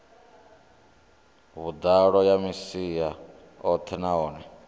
vhuḓalo ya masia oṱhe nahone